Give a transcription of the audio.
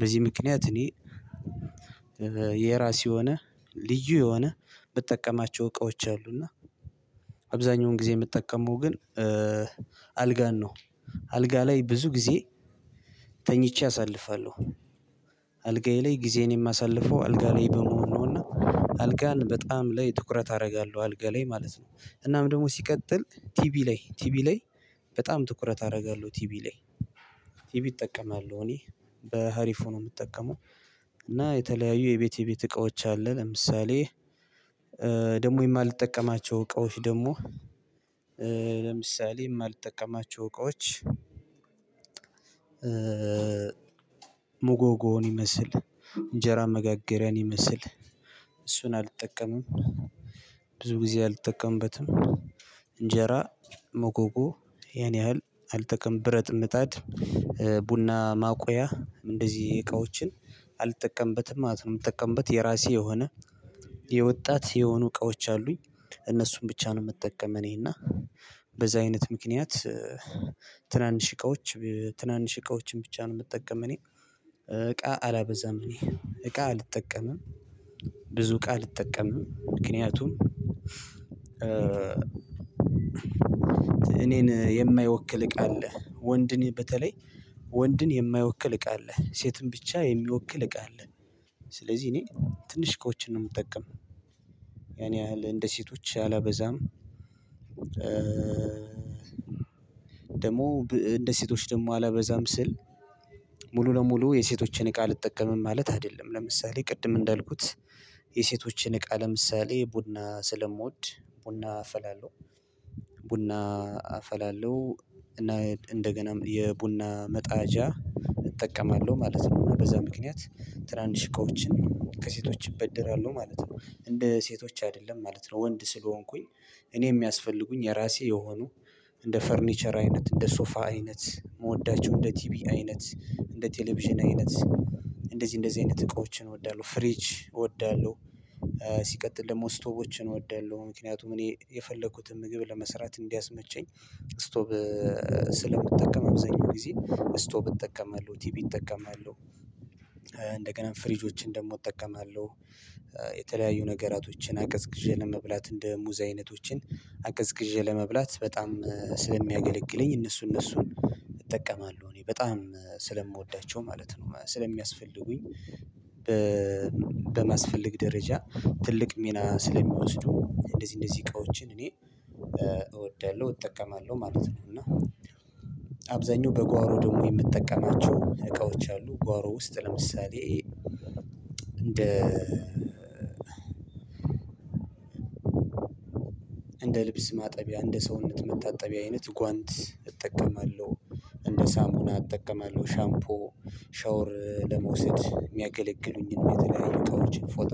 በዚህ ምክንያት እኔ የራስ የሆነ ልዩ የሆነ ብጠቀማቸው እቃዎች አሉና። እና አብዛኛውን ጊዜ የምትጠቀመው ግን አልጋን ነው። አልጋ ላይ ብዙ ጊዜ ተኝቼ አሳልፋለሁ። አልጋዬ ላይ ጊዜን የማሳልፈው አልጋ ላይ በመሆን ነውና አልጋን በጣም ላይ ትኩረት አደርጋለሁ አልጋ ላይ ማለት ነው። እናም ደግሞ ሲቀጥል ቲቢ ላይ ቲቢ ላይ በጣም ትኩረት አደርጋለሁ ቲቢ ላይ ቲቢ እጠቀማል እኔ በሀሪፍ ነው የምጠቀመው። እና የተለያዩ የቤቴ የቤት እቃዎች አለ። ለምሳሌ ደግሞ የማልጠቀማቸው እቃዎች ደግሞ ለምሳሌ የማልጠቀማቸው እቃዎች ሙጎጎን ይመስል እንጀራ መጋገሪያን ይመስል እሱን አልጠቀምም። ብዙ ጊዜ አልጠቀምበትም እንጀራ ሞጎጎ ያን ያህል አልጠቀም ብረት ምጣድ ቡና ማቆያ እንደዚህ እቃዎችን አልጠቀምበትም። ማለት ነው የምጠቀምበት የራሴ የሆነ የወጣት የሆኑ እቃዎች አሉኝ እነሱን ብቻ ነው። ምጠቀመው እኔና በዚህ አይነት ምክንያት ትናንሽ እቃዎች ትናንሽ እቃዎችን ብቻ ነው የምጠቀም። እኔ እቃ አላበዛም እኔ እቃ አልጠቀምም። ብዙ እቃ አልጠቀምም ምክንያቱም እኔን የማይወክል እቃ አለ ወንድን በተለይ ወንድን የማይወክል እቃ አለ ሴትን ብቻ የሚወክል እቃ አለ። ስለዚህ እኔ ትንሽ እቃዎችን ነው የምጠቀም ያን ያህል እንደ ሴቶች አላበዛም። ደግሞ እንደ ሴቶች ደግሞ አላበዛም ስል ሙሉ ለሙሉ የሴቶችን እቃ ልጠቀምም ማለት አይደለም። ለምሳሌ ቅድም እንዳልኩት የሴቶችን እቃ ለምሳሌ ቡና ስለምወድ ቡና አፈላለሁ ቡና አፈላለሁ እና እንደገና የቡና መጣጃ እጠቀማለሁ ማለት ነው በዛ ምክንያት ትናንሽ እቃዎችን ከሴቶች እበደራሁ ማለት ነው። እንደ ሴቶች አይደለም ማለት ነው። ወንድ ስለሆንኩኝ እኔ የሚያስፈልጉኝ የራሴ የሆኑ እንደ ፈርኒቸር አይነት እንደ ሶፋ አይነት ምወዳቸው እንደ ቲቢ አይነት እንደ ቴሌቪዥን አይነት እንደዚህ እንደዚህ አይነት እቃዎችን እወዳለሁ ፍሪጅ እወዳለሁ። ሲቀጥል ደግሞ ስቶቮችን እወዳለሁ ምክንያቱም እኔ የፈለኩትን ምግብ ለመስራት እንዲያስመቸኝ እስቶቮችን ስለምትጠቀምም አብዛኛው ጊዜ እስቶቭ እጠቀማለሁ ቲቪ እጠቀማለሁ። እንደገና ፍሪጆችን ደግሞ እጠቀማለሁ የተለያዩ ነገራቶችን አቀዝቅዤ ለመብላት እንደ ሙዛይነቶችን አቀዝቅዤ ለመብላት በጣም ስለሚያገለግለኝ እነሱ እነሱን እጠቀማለሁ እኔ በጣም ስለምወዳቸው ማለት ነው። ስለሚያስፈልጉኝ በማስፈልግ ደረጃ ትልቅ ሚና ስለሚወስዱ እንደዚህ እንደዚህ እቃዎችን እኔ እወዳለሁ እጠቀማለሁ ማለት ነው። እና አብዛኛው በጓሮ ደግሞ የምትጠቀማቸው እቃዎች አሉ ጓሮ ውስጥ ለምሳሌ እንደ እንደ ልብስ ማጠቢያ እንደ ሰውነት መታጠቢያ አይነት ጓንት እጠቀማለሁ። እንደ ሳሙና አጠቀማለሁ ሻምፖ ሻወር ለመውሰድ የሚያገለግሉኝን የተለያዩ እቃዎችን ፎጣዎችን